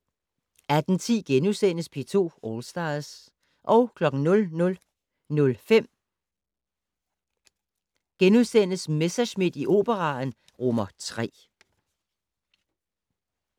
18:10: P2 All Stars * 00:05: Messerschmidt i Operaen III *